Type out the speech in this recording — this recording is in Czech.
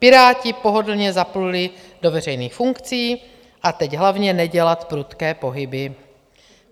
Piráti pohodlně zapluli do veřejných funkcí - a teď hlavně nedělat prudké pohyby.